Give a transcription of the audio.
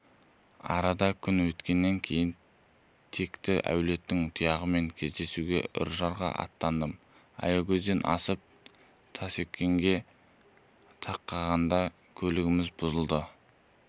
арада күн өткеннен кейін текті әулеттің тұяғымен кездесуге үржарға аттандым аягөзден асып таскескенге тақағанда көлігіміз бұзылды